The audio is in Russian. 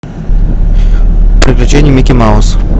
приключения микки мауса